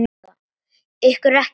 Ykkur er ekki alvara!